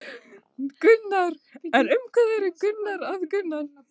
Karen: En um hvað eru krakkar að yrkja?